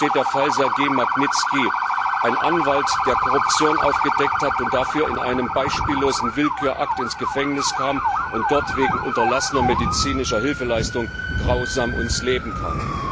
Hierfür steht beispielhaft der Fall Sergej Magnitzkis, eines Anwalts, der Korruption aufgedeckt hat und dafür in einem beispiellosen Willkürakt ins Gefängnis kam und dort wegen unterlassener medizinischer Hilfeleistung grausam ums Leben kam.